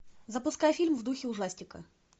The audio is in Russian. запускай фильм в духе ужастика